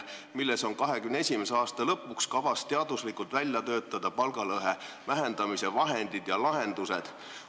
2021. aasta lõpuks on kavas teaduslikult välja töötada palgalõhe vähendamise vahendid ja lahendused.